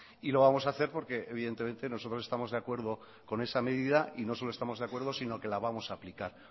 y lo vamos a hacer porque evidentemente nosotros estamos de acuerdo con esa medida y no solo estamos de acuerdo sino que la vamos a aplicar